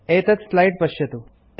एतत् स्लाइड पश्यतु